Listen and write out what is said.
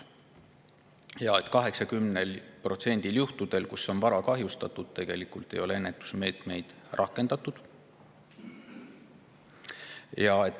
Ja 80%‑l juhtudel, kus on vara kahjustatud, ei ole tegelikult ennetusmeetmeid rakendatud.